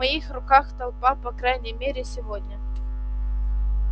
в моих руках толпа по крайней мере сегодня